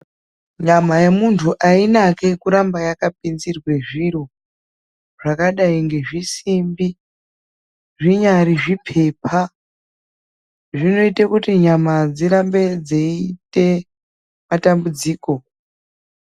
Nyama yemuntu ainaki kuramba yakapinzirwe zviro, zvakadai ngezvisimbi, zvinyari zviphepha. Zvinoite kuti nyama dzirambe dziite matambudziko.